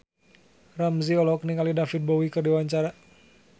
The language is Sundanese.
Ramzy olohok ningali David Bowie keur diwawancara